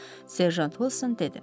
Serjant Wolson dedi.